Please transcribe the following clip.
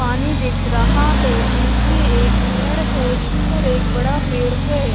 पानी दीख रहा है बीच में एक मेड है जिस पर एक बड़ा पेड़ है।